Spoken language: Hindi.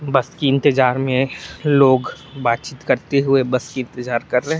बस की इंतजार में लोग बात चीत करते हुए बस की इंतजार कर रहे हैं।